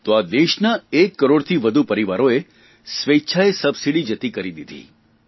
તો આ દેશના એક કરોડથી વધુ પરિવારોએ સ્વેચ્છાએ સબસીડી જતી કરી દીધી